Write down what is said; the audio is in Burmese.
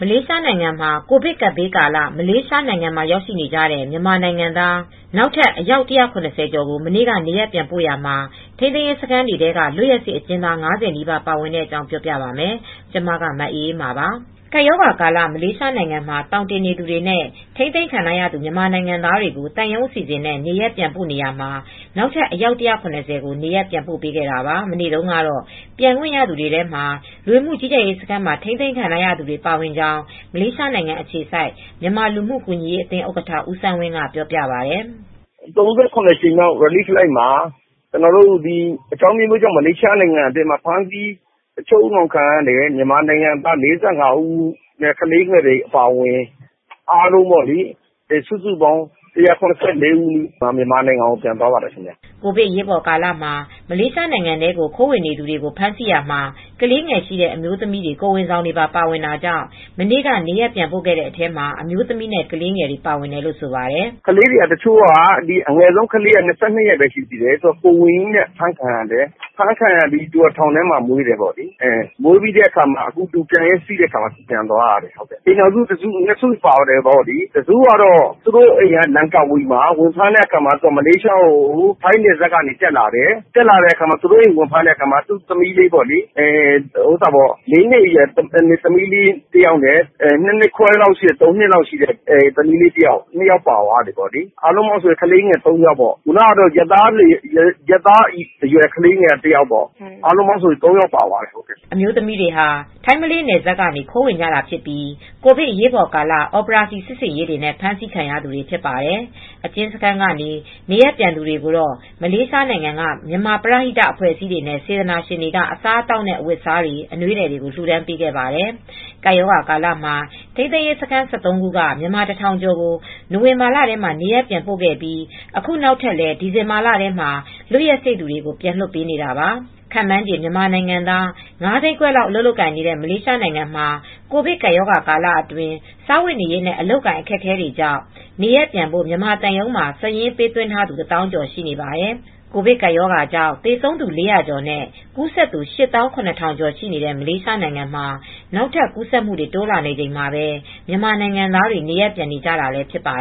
လေးရှားနိုင်ငံမှာ ကိုဗစ်ကပ်ဘေးကာလ မလေးရှားနိုင်ငံမှာ ရောက်နေကြတဲ့ မြန်မာနိုင်ငံသား နောက်ထပ် အယောက် ၁၇၀ ကျော်ကို မနေ့က နေရပ်ပြန်ပို့ရာမှာ ထိန်းသိမ်းရေးစခန်းတွေထဲက လွတ်ရက်စေ့အကျဉ်းသား ၅၀ နီးပါး ပါဝင်တဲ့အကြောင်း ပြောပြပါမယ်။ ဗွီအိုအေမြန်မာပိုင်း သတင်းထောက် မအေးအေးမာက သတင်းပေးပို့ထားပါတယ်။ ကပ်ရာဂါကာလ မလေးရှားနိုင်ငံမှာ သောင်တင်နေသူတွေနဲ့ ထိန်းသိမ်းခံထားရသူ မြန်မာနိုင်ငံသားတွေကို သံရုံးအစီအစဉ်နဲ့ နေရပ်ပြန်ပို့နေရာမှာ နောက်ထပ်အယောက် ၁၇၀ ကျော်နေရပ်ပြန်ပို့ခဲ့တာပါ။ မနေ့တုန်းက ပြန်ခွင့်ရသူတွေထဲမှာတော့ လူဝင်မှုကြီးကြပ်ရေး စခန်းတွေမှာ ထိန်းသိမ်းခံခဲ့ရသူတွေလည်း ပါဝင်ခဲ့ကြောင်း မလေးရှားနိုင်ငံအခြေစိုက် မြန်မာလူမှုကူညီရေးအသင်းဥက္ကဋ္ဌ ဦးစန်းဝင်းက ပြောပါတယ်။ "၃၇ ကြိမ်မြောက်ကယ်ဆယ်ရေးလေယာဉ်မှာ အကြောင်းအမျိုးမျိုးကြောင့် ဖမ်းဆီးခံရတဲ့ မြန်မာနိုင်ငံသား ၄၅ ဦးနဲ့ ကလေးငယ်တွေအပါအဝင် အားလုံးပေါ့လေ... ၁၇၄ ဦး မြန်မာနိုင်ငံကိုပြန်သွားပါတယ်။" ကိုဗစ်အရေးပေါ်ကာလမှာ မလေးရှားနိုင်ငံထဲကို ခိုးဝင်ခဲ့တဲ့ သူတွေကို ဖမ်းဆီးရာမှာ ကလေးငယ်ရှိတဲ့ အမျိုးသမီးတွေ ကိုယ်ဝန်ဆောင်တွေပါ ပါဝင်တာကြောင့် မနေ့က နေရပ်ပြန်ပို့တဲ့အထဲမှာ အမျိုးသမီးနဲ့ ကလေးငယ်တွေ ပါဝင်တယ်လို့ ဆိုပါတယ်။ "ကလေးတွေက အငယ်ဆုံးကလေးက ၂၂ ရက်ပဲ ရှိသေးတယ်။ သူက ကိုယ်ဝန်ကြီးနဲ့ အဖမ်းခံရတယ်။ အဖမ်းခံရပြီး ထောင်ထဲမှာမွေးတာ မွေးပြီးပြန်ရက်စေ့တဲ့အခါ သူပြန်သွားရတာ။ အိမ်ထောင်စုက ၂ စုပါပါတယ်။ အိမ်ထောင်တစုကတော့ သူ့တို့အိမ်က လန်ကာဝီမှာ သူတို့က ထိုင်းနယ်စပ်ကနေ တက်လာတာ သူ့အိမ်ကို ဝင်ဖမ်းတဲ့အခါမှာ ၄ နှစ်ရွယ်သမီး လေးတယောက်နဲ့ ၂ နှစ်ခွဲအရွယ်သမီးလေး တယောက်၊ အားလုံးပေါင်းဆို ၃ ယောက်၊ ရက်သားအရွယ်ကလေးနဲ့ဆို အားလုံးပေါင်း ၃ ယောက်ပါသွားတယ်။" အမျိုးသမီးတွေဟာ ထိုင်းမလေးနယ်စပ်ကနေ ခိုးဝင်ကြသူတွေဖြစ်ပြီး ကိုဗစ်အရေးပေါ်ကာလ အော်ပရောစီစစ်ဆင်ရေးတွေနဲ့ ဖမ်းဆီးခံရသူတွေဖြစ်ကြပါတယ်။ အကျဉ်းစခန်းကနေ နေရပ်ပြန်သူတွေကိုတော့ မလေးရှားနိုင်ငံက မြန်မာပရဟိတအဖွဲ့အစည်းတွေနဲ့ စေတနာရှင်တွေက အစားအသောက်နဲ့ အဝတ်အစားတွေ အနွေးထည်တွေကို လှူဒါန်းပေးခဲ့ပါတယ်။ ကပ်ရောဂါကာလမှာ ထိန်းသိမ်းရေးစခန်း ၁၃ ခုက မြန်မာ ၁,၀၀၀ ကျော်ကို နိုဝင်ဘာလထဲမှာ နေရပ်ပြန်ပို့ခဲ့ပြီး အခုနောက်ထပ်လည်း ဒီဇင်ဘာလထဲမှာ လွတ်ရက်စေ့သူတွေကို ပြန်လွှတ်ပေးနေတာပါ။ ခန့်မှန်းခြေ မြန်မာနိုင်ငံသား ၅၅၀,၀၀၀ လောက် အလုပ်လုပ်ကိုင်နေတဲ့ မလေးရှားမှာ ကိုဗစ်ကပ်ရောဂါကာလအတွင်း စားဝတ်နေရေးနဲ့ အလုပ်အကိုင် အခက်အခဲတွေကြောင့် နေရပ်ပြန်ဖို့ မြန်မာသံရုံးမှာ စာရင်းပေးသွင်းထားသူ ၁၀,၀၀၀ ကျော်ရှိနေပါတယ်။ ကိုဗစ်ကပ်ရောဂါကြောင့် သေဆုံးသူ ၄၀၀ ကျော်နဲ့ ကူးစက်သူ ၈၇,၀၀၀ ကျော် ရှိနေတဲ့ မလေးရှားနိုင်ငံမှာ နောက်ထပ် ကူးစက်မှုတွေ တိုးလာနေချိန်မှာပဲ မြန်မာနိုင်ငံသားတွေ နေရပ်ပြန်နေကြတာလည်း ဖြစ်ပါ